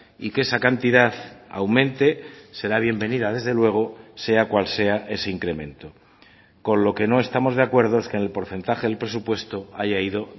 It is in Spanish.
y que esa cantidad aumente será bienvenida desde luego sea cual sea ese incremento con lo que no estamos de acuerdo es que en el porcentaje del presupuesto haya ido